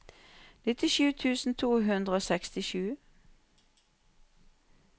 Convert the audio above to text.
nittisju tusen to hundre og sekstisju